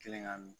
Kelen ka min